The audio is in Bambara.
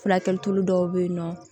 Furakɛli dɔw bɛ yen nɔ